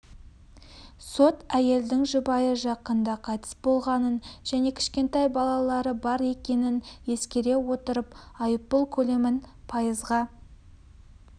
сот әйелдің жұбайы жақында қайтыс болғанын және кішкентай балалары бар екенін ескере отырып айыппұл көлемін пайызға